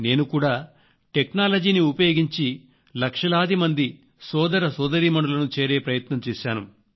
నేను కూడా టెక్నాలజీని ఉపయోగించి లక్షలాది మంది సోదర సోదరీమణులను చేరే ప్రయత్నం చేశాను